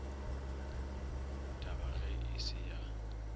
tab age e se ya